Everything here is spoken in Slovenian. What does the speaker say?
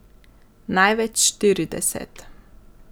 Največ štirideset.